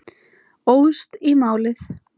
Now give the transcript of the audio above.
Óðst í málið.